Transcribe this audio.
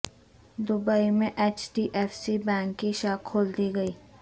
Dubai میں H D F C bank کی شاخ کھول دی گئی